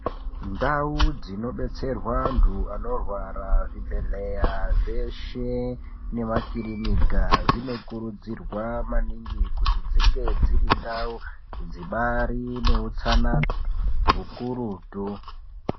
Ndau dzinodetserwa anthu anorwara muzvibhedhlera zveshe nemakirinika dzinokurudzirwa maningi kuti dzinge dziri ndau dzibaari neutsanana ukurutu .